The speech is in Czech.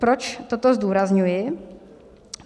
Proč toto zdůrazňuji?